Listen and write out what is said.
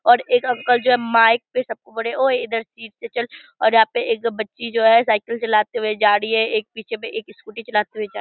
और एक अंकल जो हैं माइक पे सबको बोले ओ इधर सीट से चल और यहां पर एक बच्ची जो है साइकिल चलाते हुए जा रही हैएक पीछे में एक स्कूटी चलाते हुए जा --